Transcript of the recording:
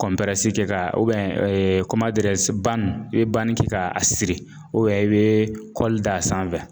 kɛ ka i bɛ kɛ ka a siri i bɛ kɔli d'a sanfɛ .